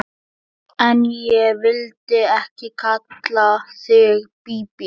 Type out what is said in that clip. En ég vildi ekki kalla þig Bíbí.